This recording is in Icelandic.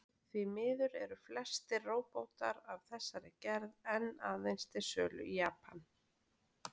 Því miður eru flestir róbótar af þessari gerð enn aðeins til sölu í Japan.